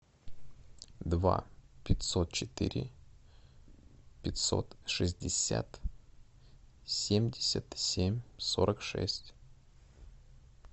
два пятьсот четыре пятьсот шестьдесят семьдесят семь сорок шесть